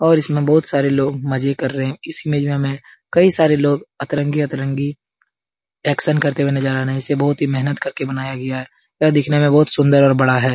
और इसमें बहुत सारे लोग मजे कर रहे हैं इस इमेज में कई सारे लोग अतरंगी-अतरंगी एक्शन करते हुए नजर आ रहे हैं इसे बहुत ही मेहनत करके बनाया गया है यह दिखने में बहुत सुन्दर और बड़ा है ।